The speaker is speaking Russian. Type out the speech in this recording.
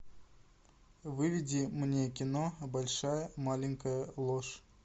выведи мне кино большая маленькая ложь